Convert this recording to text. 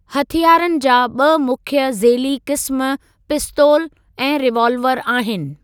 हथियारनि जा ॿ मुख्य ज़ेली क़िस्मु पिस्तोलु ऐं रीवालवर आहिनि।